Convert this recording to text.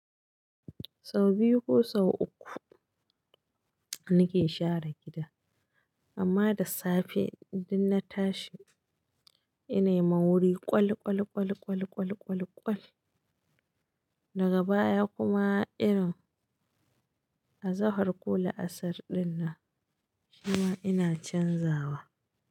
Sau biyu ko sau uku nake share gida, amma da safe idan na tashi inai ma wuri ƙwal, ƙwal, ƙwal, ƙwal, ƙwal, ƙwal, ƙwal. Daga baya kuma irin azzahar ko la'asar ɗinnan, shima ina canzawa.